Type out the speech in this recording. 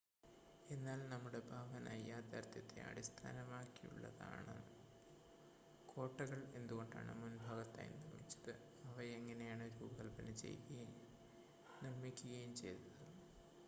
എന്നാൽ നമ്മുടെ ഭാവന യാഥാർത്ഥ്യത്തെ അടിസ്ഥാനമാക്കിയുള്ളതാണോ കോട്ടകൾ എന്തുകൊണ്ടാണ് മുൻഭാഗത്തായി നിർമ്മിച്ചത് അവ എങ്ങനെയാണ് രൂപകൽപ്പന ചെയ്യുകയും നിർമ്മിക്കുകയും ചെയ്തത്